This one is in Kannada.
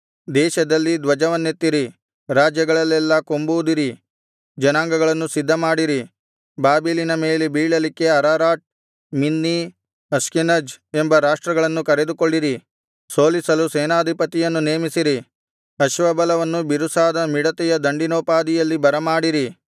ದೇಶದಲ್ಲಿ ಧ್ವಜವನ್ನೆತ್ತಿರಿ ರಾಜ್ಯಗಳಲ್ಲೆಲ್ಲಾ ಕೊಂಬೂದಿರಿ ಜನಾಂಗಗಳನ್ನು ಸಿದ್ಧಮಾಡಿರಿ ಬಾಬೆಲಿನ ಮೇಲೆ ಬೀಳಲಿಕ್ಕೆ ಅರರಾಟ್ ಮಿನ್ನಿ ಅಷ್ಕೆನಜ್ ಎಂಬ ರಾಷ್ಟ್ರಗಳನ್ನು ಕರೆದುಕೊಳ್ಳಿರಿ ಸೋಲಿಸಲು ಸೇನಾಧಿಪತಿಯನ್ನು ನೇಮಿಸಿರಿ ಅಶ್ವಬಲವನ್ನು ಬಿರುಸಾದ ಮಿಡತೆಯ ದಂಡಿನೋಪಾದಿಯಲ್ಲಿ ಬರಮಾಡಿರಿ